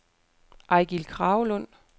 Eigil Kragelund